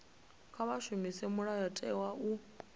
kha vha shumise mulayotewa u